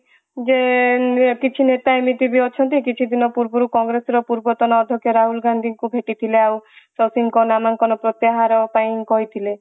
ଯେ କିଛି ନେତା ଏମିତି ବି ଅଛନ୍ତି କିଛି ଦିନ ପୂର୍ବରୁ କଂଗ୍ରେସ ର ପୂର୍ବତନ ଅଦକ୍ଷ ରାହୁଲ ଗନ୍ଧିଙ୍କୁ ଭେଟିଥିଲେ ଆଉ ଶକ୍ତି ଙ୍କ ନାମାଙ୍କନ ପ୍ରତ୍ୟାହାର ପାଇଁ କହିଥିଲେ